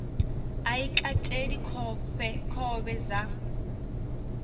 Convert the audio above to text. a i kateli khovhe dza